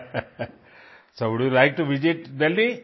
so would you like to visit Delhi